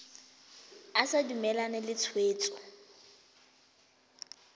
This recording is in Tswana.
o sa dumalane le tshwetso